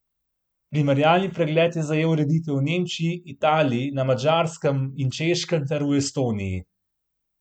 Primerjalni pregled je zajel ureditve v Nemčiji, Italiji, na Madžarskem in Češkem ter v Estoniji.